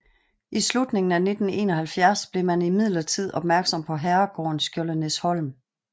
I slutningen af 1971 blev man imidlertid opmærksom på herregården Skjoldenæsholm